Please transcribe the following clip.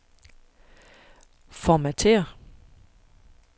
Formatér.